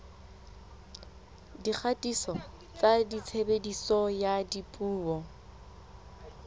dikgatiso tsa tshebediso ya dipuo